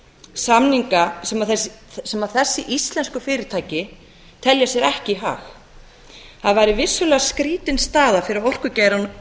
samninga sem þessi íslensku fyrirtæki telja sér ekki í hag það væri vissulega skrýtin staða fyrir orkugeirann